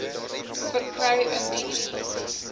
verkry indien u